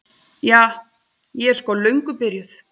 Ja, ég er sko löngu byrjuð.